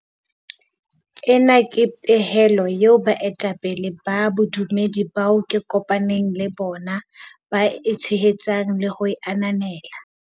Ena ke pehelo eo baetapele ba bodumedi bao ke kopa neng le bona ba e tshehetsang le ho e ananela.